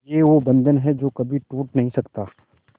ये वो बंधन है जो कभी टूट नही सकता